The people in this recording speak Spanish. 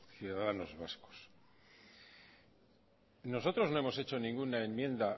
ciudadanos vascos nosotros no hemos hecho ninguna enmienda